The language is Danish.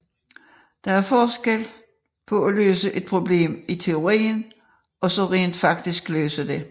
Der er stor forskel på at løse et problem i teorien og så rent faktisk løse det